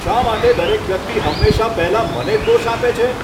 શા માટે દરેક વ્યક્તિ હંમેશા પહેલાં મને જ દોષ આપે છે?